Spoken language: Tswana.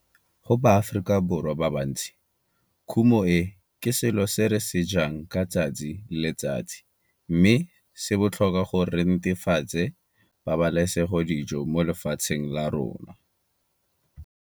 Go baAforikaborwa ba bantsi kumo e ke selo se re se jang ka letsatsi le letsatsi mme se botlhokwa go netefatsa pabalesegodijo mo lefatsheng la rona.